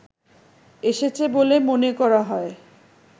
এসেছে বলে মনে করা হয়